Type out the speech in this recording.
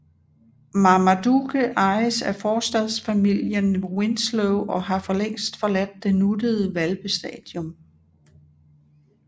Marmaduke ejes af forstadsfamilien Winslow og har for længst forladt det nuttede hvalpestadium